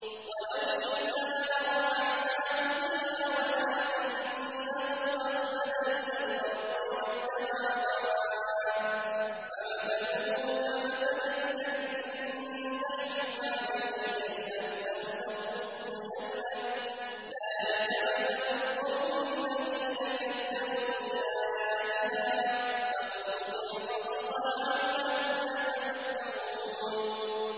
وَلَوْ شِئْنَا لَرَفَعْنَاهُ بِهَا وَلَٰكِنَّهُ أَخْلَدَ إِلَى الْأَرْضِ وَاتَّبَعَ هَوَاهُ ۚ فَمَثَلُهُ كَمَثَلِ الْكَلْبِ إِن تَحْمِلْ عَلَيْهِ يَلْهَثْ أَوْ تَتْرُكْهُ يَلْهَث ۚ ذَّٰلِكَ مَثَلُ الْقَوْمِ الَّذِينَ كَذَّبُوا بِآيَاتِنَا ۚ فَاقْصُصِ الْقَصَصَ لَعَلَّهُمْ يَتَفَكَّرُونَ